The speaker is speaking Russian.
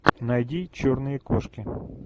найди черные кошки